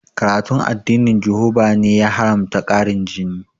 Karatun addinin jihoba ne ya haramta ƙarin jini